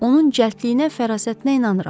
Onun cəldliyinə fərasətinə inanıram.